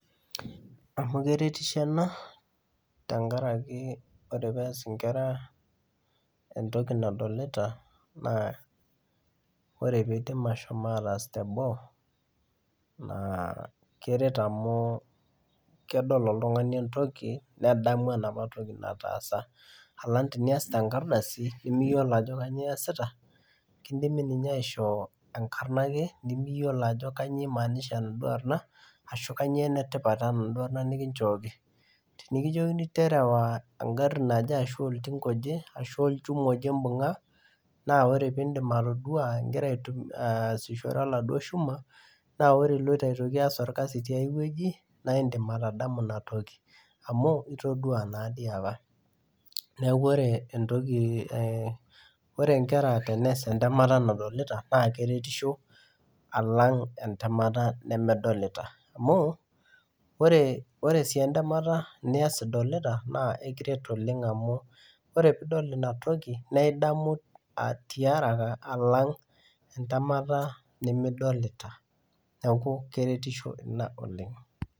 Amu keretisho ena tenkaraki ore pees inkera entoki nadolita naa ore piidim ashom ataas teboo naa keret amu kedol oltung'ani entoki nedamu enapa toki nataasa alang tenias tenkardasi nemiyiolo ajo kanyio iyasita kindimi ninye aishoo enkarna ake ake nemiyiolo ajo kanyio imaanisha enaduo ashu kanyio enetipat enaduo arrna nikinchooki tenikijokini terewa engarri naje ashu oltinka oje ashu olchuma oje imbung'a naa ore pindim atodua ingira aitum aasishore oladuo shuma naa ore iloito aitoki alo aas orkasi tiae wueji naindim atadamu inatoki amu itodua nadii apa neeku ore entoki eh ore inkera tenees entemata nadolita naa keretisho alang entemata nemedolita amu ore ore sii entemata nias idolita naa ekiret oleng amu ore piidol inatoki naidamu tiaraka alang entemata nemidolita neku keretisho ina oleng.